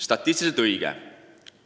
Statistiliselt on see õige.